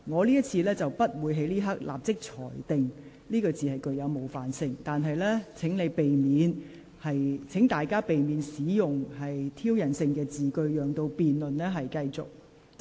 今次我不會立即裁定此用詞具冒犯性，但請議員避免使用具挑釁性的言詞，讓辯論能暢順進行。